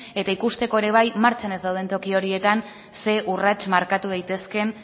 eta ikusteko ere bai martxan ez dauden toki horietan zer urrats markatu daitezkeen